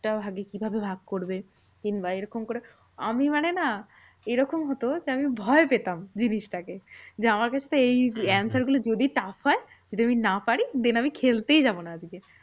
টা ভাগে কিভাবে ভাগ করবে? কিংবা এরকম করে আমি মানে না এরকম হতো যে, আমি ভয় পেতাম জিনিসটাকে। যে আমার ক্ষেত্রে এই answer গুলো যদি tough হয়। যদি আমি না পার, then আমি খেলতেই যাবো না আজকে।